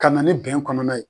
Ka na ni bɛn kɔnɔna ye.